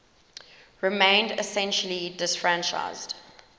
remained essentially disfranchised